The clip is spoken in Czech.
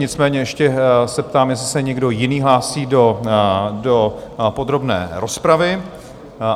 Nicméně ještě se ptám, jestli se někdo jiný hlásí do podrobné rozpravy.